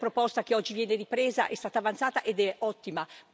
Quella proposta, che oggi viene ripresa, è stata avanzata ed è ottima.